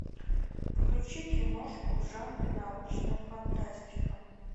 включи киношку в жанре научная фантастика